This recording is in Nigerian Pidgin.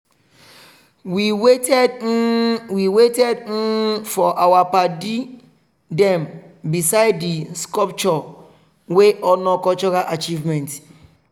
we waited um we waited um for our padi them beside di sculpture wey honor cultural achievement.